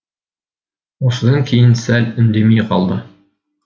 осыдан кейін сәл үндемей қалды